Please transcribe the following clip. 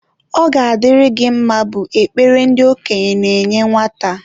Ọ ga-adịrị gị mma bụ ekpere ndị okenye na-enye nwata.